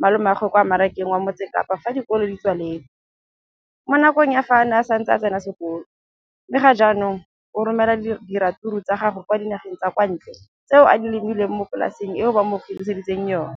malomagwe kwa Marakeng wa Motsekapa fa dikolo di tswaletse, mo nakong ya fa a ne a santse a tsena sekolo, mme ga jaanong o romela diratsuru tsa gagwe kwa dinageng tsa kwa ntle tseo a di lemileng mo polaseng eo ba mo hiriseditseng yona.